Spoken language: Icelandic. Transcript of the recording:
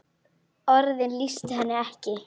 Orðin lýstu henni ekki.